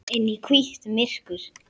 Inn í hvítt myrkur.